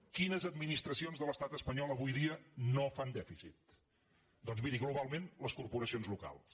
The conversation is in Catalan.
quines administracions de l’estat espanyol avui dia no fan dèficit doncs mi·ri globalment les corporacions locals